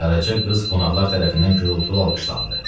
Qaraca qız qonaqlar tərəfindən gurultulu alqışlandı.